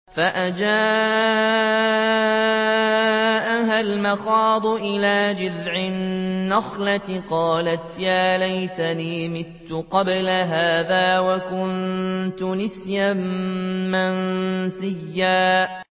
فَأَجَاءَهَا الْمَخَاضُ إِلَىٰ جِذْعِ النَّخْلَةِ قَالَتْ يَا لَيْتَنِي مِتُّ قَبْلَ هَٰذَا وَكُنتُ نَسْيًا مَّنسِيًّا